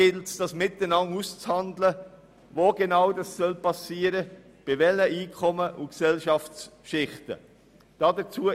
Wie das genau geschehen soll, bei welchen Einkommen und Gesellschaftsschichten, ist miteinander auszuhandeln.